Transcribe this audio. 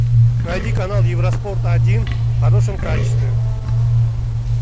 найди канал евроспорт один в хорошем качестве